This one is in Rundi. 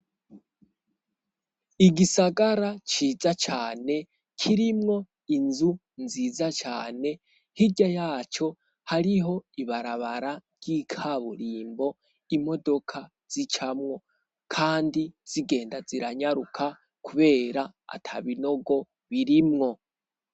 Igisagara ciza cane, kirimwo inzu nziza cane. Hirya yaco hariho ibarabara ry'ikaburimbo imodoka zicamwo kandi zigenda ziranyaruka kubera ata binogo birimwo.